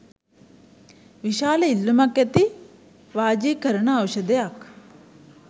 විශාල ඉල්ලූමක් ඇති වාජිකරණ ඖෂධයක්